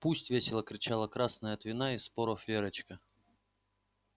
пусть весело кричала красная от вина и споров верочка